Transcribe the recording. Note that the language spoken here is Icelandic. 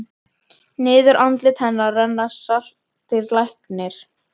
Niður andlit hennar renna saltir lækir.